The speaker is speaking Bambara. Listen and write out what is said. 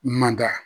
Manda